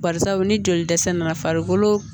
Barisabu ni jolidɛsɛ nana farikolo